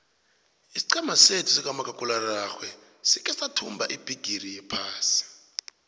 isiqhema sethu sikamakhakhulararhwe sikhe sayithumba ibhigiri yephasi